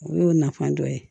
O y'o nafan dɔ ye